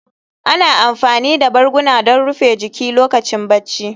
Ana amfani da barguna don rufe jiki lokacin barci